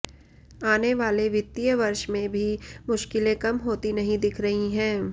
आने वाले वित्तीय वर्ष में भी मुश्किलें कम होती नहीं दिख रही हैं